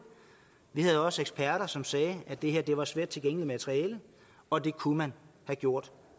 vi havde også eksperter som sagde at det her var sværttilgængeligt materiale og at det kunne man have gjort